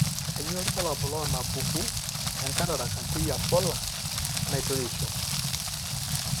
Kainyio irbulabul onaapuku enCataract anterior polar enaitoreisho?